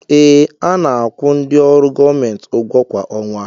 Ee, a na-akwụ ndị ọrụ gọọmenti ụgwọ kwa ọnwa